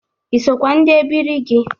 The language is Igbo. Ị sokwa ndị ebiri gị?